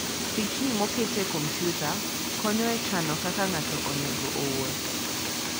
Pichni moket e kompyuta konyo e chano kaka ng'ato onego owuoth.